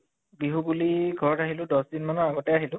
বিহু বুলি? ঘৰত আহিলো দশ দিন মানৰ আগতে আহিলো